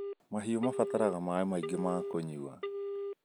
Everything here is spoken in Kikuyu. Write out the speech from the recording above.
Mahiũ mabataraga maĩ maingĩ ma kũnywa